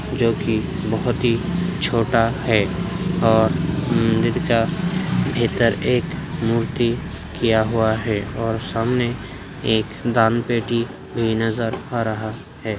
जो की बहुत ही छोटा है और जिसका बेहतर एक मूर्ति किया हुआ है और सामने एक दानपेटी की नज़र आ रहा है।